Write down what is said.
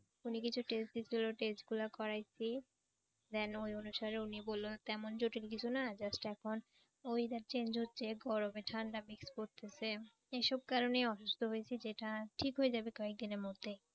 উনি কিছু test দিছিল test গুলা করাইছি। Then ওই অনুসারে উনি বলল তেমন জরুরি কিছু না just এখন weather change হচ্ছে গরমে ঠান্ডা mix করতেছে এসব কারণে অসুস্থ হয়েছি যেটা ঠিক হয়ে যাবে কয়েকদিনের মধ্যে ।